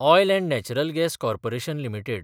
oil & natural gas corporation limited